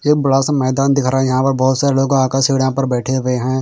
ये बड़ा सा मैदान दिख रहा हैं यहाँ पर बहुत सारे लोग आ कर से यहाँ पर बैठे हुए हैं।